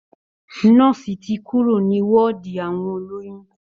Nọ́ọ̀sì ti kúrò ní wọ́ọ̀dì àwọn olóyún